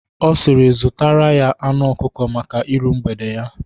Ọ siri "zutara ya anu ọkụkọ maka ịru mgbede ya"